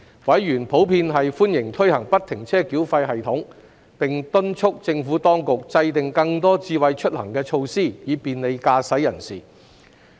委員普遍歡迎推行不停車繳費系統，並敦促政府當局制訂更多"智慧出行"措施，以便利駕駛人士。